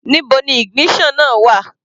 Níbo ni ignition náà wà?